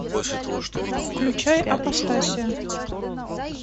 включай апостасия